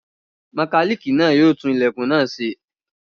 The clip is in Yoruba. Mọkálíìkì náà yóò tún ilẹ̀kùn náà ṣe.